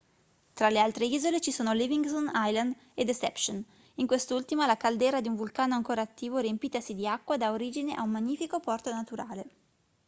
tra le altre isole ci sono livingston island e deception in quest'ultima la caldera di un vulcano ancora attivo riempitasi di acqua da origine a un magnifico porto naturale